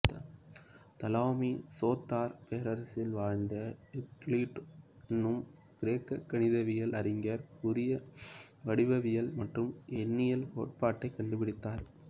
Ptolemy Soter பேரரசில் வாழ்ந்த Euclid எனும் கிரேக்க கணிதவியல் அறிஞர் புதிய வடிவவியல் மற்றும் எண்ணியல் கோட்பாட்டை கண்டுபிடித்தார்